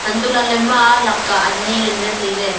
hantoh lah ley ema ladka ani ngan ley tai ley.